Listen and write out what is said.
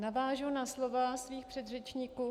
Navážu na slova svých předřečníků.